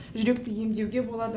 жүректі емдеуге болады